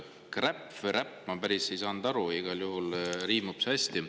Kräpp või räpp, ma ei saanud päris täpselt aru, igal juhul riimub see hästi.